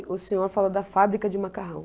E o senhor falou da fábrica de macarrão.